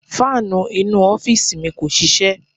Fáànù inú u ọ́fíìsì mi kò ṣiṣẹ́.